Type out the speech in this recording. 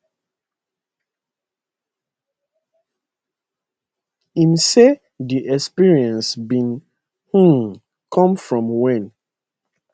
im say di experience bin um come from wen